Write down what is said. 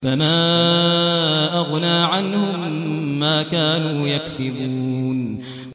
فَمَا أَغْنَىٰ عَنْهُم مَّا كَانُوا يَكْسِبُونَ